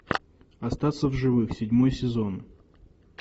остаться в живых седьмой сезон